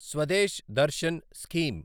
Swades Darshan scheme